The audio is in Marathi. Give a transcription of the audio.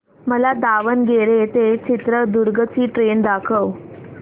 मला दावणगेरे ते चित्रदुर्ग ची ट्रेन दाखव